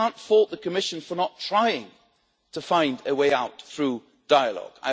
You can't fault the Commission for not trying to find a way out through dialogue.